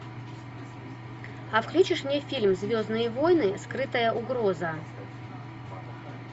а включишь мне фильм звездные войны скрытая угроза